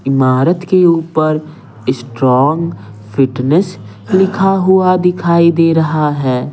इमारत के ऊपर स्ट्रांग फिटनेस लिखा हुआ दिखाई दे रहा है।